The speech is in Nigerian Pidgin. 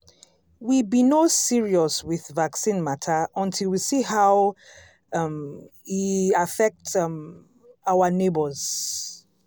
we be no serious with vaccine matter until we see how um e affect um our neighbors.